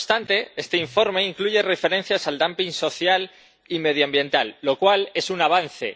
No obstante, este informe incluye referencias al dumping social y medioambiental, lo cual es un avance.